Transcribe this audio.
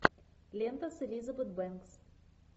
лента с элизабет бенкс